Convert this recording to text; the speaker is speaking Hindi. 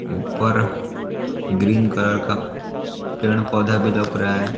ऊपर ग्रीन कलर का पेड़ पौधा भी लौक रहा है।